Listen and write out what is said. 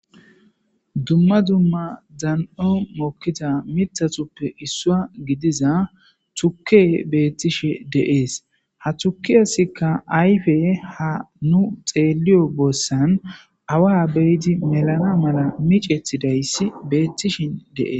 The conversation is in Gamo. Duma duma dani7on mokiza mithatupe issuwa gidiza tuke betishe de7es. Ha tukesika ayife ha nu xeliyo boso7an awa be7id melana mala micetidayis betishe de7es.